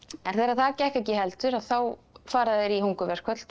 en þegar það gekk ekki heldur að þá fara þeir í hungurverkföll tvö